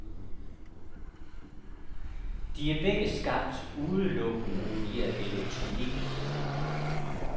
De er begge skabt udelukkende via elektronik.